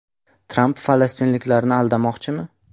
Tramp falastinliklarni aldamoqchimi?